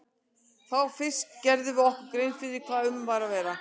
Þá fyrst gerðum við okkur grein fyrir hvað um var að vera.